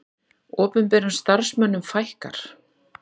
Opinberum starfsmönnum fækkar